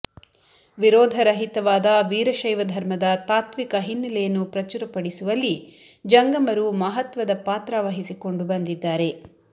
ವಿರೋಧ ರಹಿತವಾದ ವೀರಶೈವ ಧರ್ಮದ ತಾತ್ವಿಕ ಹಿನ್ನಲೆಯನ್ನು ಪ್ರಚುರಪಡಿಸುವಲ್ಲಿ ಜಂಗಮರು ಮಹತ್ವದ ಪಾತ್ರ ವಹಿಸಿಕೊಂಡು ಬಂದಿದ್ದಾರೆ